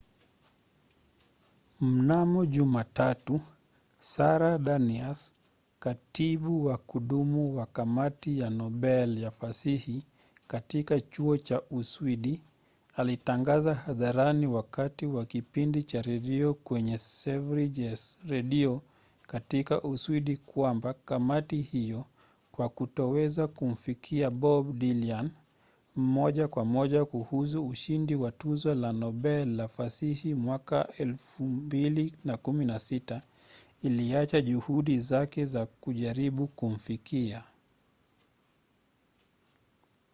mnamo jumatatu sara danius katibu wa kudumu wa kamati ya nobel ya fasihi katika chuo cha uswidi alitangaza hadharani wakati wa kipindi cha redio kwenye sveriges radio katika uswidi kwamba kamati hiyo kwa kutoweza kumfikia bob dylan moja kwa moja kuhusu ushindi wa tuzo la nobel la fasihi 2016 iliacha juhudi zake za kujaribu kumfikia